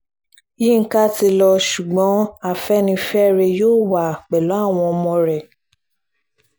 yinka ti lọ ṣùgbọ́n afẹ́nifẹ́re yóò wà pẹ̀lú àwọn ọmọ rẹ̀